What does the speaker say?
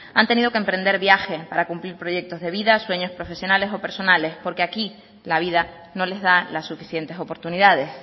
han tenido que emprender viaje para cumplir proyectos de vida sueños profesionales o personales porque aquí la vida no les da las suficientes oportunidades